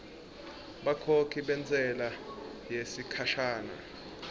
bakhokhi bentsela yesikhashana